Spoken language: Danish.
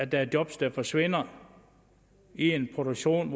der er job der forsvinder i en produktion